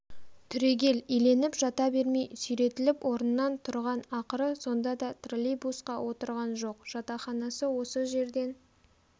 түрегел иленіп жата бермей сүйретіліп орнынан тұрған ақыры сонда да троллейбусқа отырған жоқ жатақханасы осы жерден